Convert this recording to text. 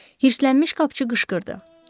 Hırslənmiş qapıçı qışqırdı.